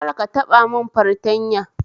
Kar ta taba mun fartanya